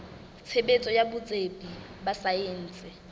tshebetso ya botsebi ba saense